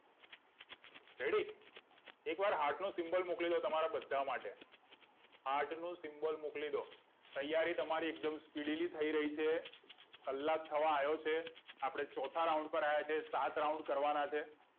ready એકવાર heart નો symbol મોકલી દો તમારા બધા માટે heart નું symbol મોકલી દો તૈયારી તમારી એકદમ speedily થઇ રહી છે કલાક થયો છે ચોથા round પર આયા છે આપને સાત round કરવાના છે